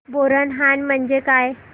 बोरनहाण म्हणजे काय